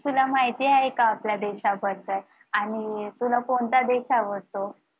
तुला माहिती आहे का आपल्या देशाबद्दल आणि तुला कोणता देश आवडतो?